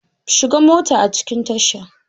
Shiga mota a cikin tasha!